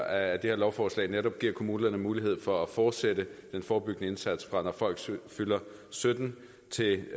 at det her lovforslag netop giver kommunerne mulighed for at fortsætte den forebyggende indsats fra når folk fylder sytten år til